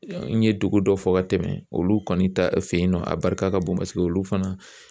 N ye dugu dɔ fɔ ka tɛmɛ olu kɔni ta fɛ yen nɔ, a barika ka bon paseke olu fana